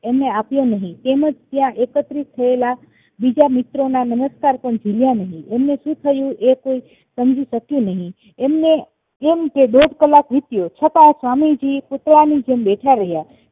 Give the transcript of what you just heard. એમને આપ્યો નહિ તેમજ ત્યાં એકત્રિત થયેલા બીજા મિત્રોના નમસ્કાર પણ ઝિલ્યા નહિ એમને સુ થયું એ કોઈ સમજી શક્યું નહિ એમને એમ કે દોઢ કલાક વીત્યો છતાં સ્વામીજી પૂતળાની જેમ બેઠા રહ્યા